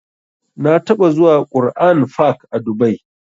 Na taɓa zuwa Qur'an fak a dubai